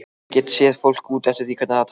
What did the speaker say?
Get séð fólk út eftir því hvernig það talar.